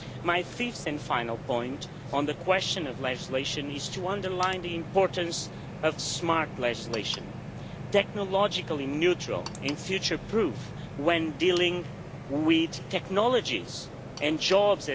My fifth and final point on the question of legislation is to underline the importance of smart legislation, technologically neutral and future proof when dealing with technologies and jobs.